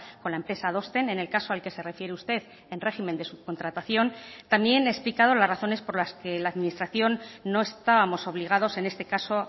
con la empresa adosten en el caso al que se refiere usted en régimen de subcontratación también he explicado las razones por las que la administración no estábamos obligados en este caso